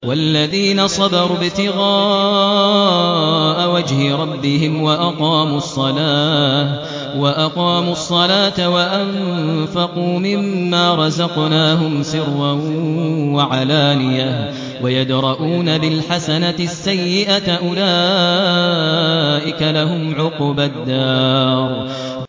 وَالَّذِينَ صَبَرُوا ابْتِغَاءَ وَجْهِ رَبِّهِمْ وَأَقَامُوا الصَّلَاةَ وَأَنفَقُوا مِمَّا رَزَقْنَاهُمْ سِرًّا وَعَلَانِيَةً وَيَدْرَءُونَ بِالْحَسَنَةِ السَّيِّئَةَ أُولَٰئِكَ لَهُمْ عُقْبَى الدَّارِ